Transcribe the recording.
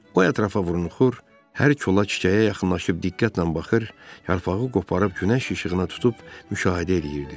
O ətrafa burunuxur, hər kola, çiçəyə yaxınlaşıb diqqətlə baxır, yarpağı qoparıb günəş işığına tutub müşahidə eləyirdi.